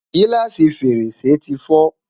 giláasi fèrèsé ti fo